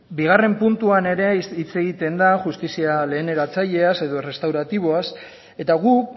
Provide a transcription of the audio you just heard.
bigarren puntuan ere hitz egiten da justizia lehen eratzaileaz edo errestauratiboaz eta guk